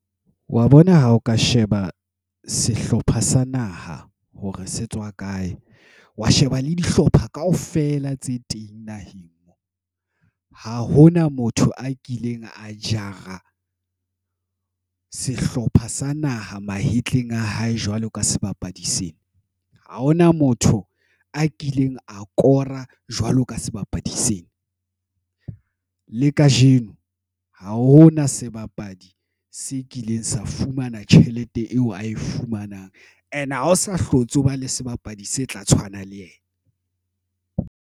Wa bona ha o ka sheba sehlopha sa naha, hore se tswa kae. Wa sheba le dihlopha kaofela tse teng naheng. Ha hona motho a kileng a jara sehlopha sa naha mahetleng a hae jwalo ka sebapadi sena, ha hona motho a kileng a kora jwalo ka sebapadi sena. Le kajeno, ha hona sebapadi se kileng sa fumana tjhelete eo ae fumanang. And ha ho sa hlotse, o ba le sebapadi se tla tshwana le yena.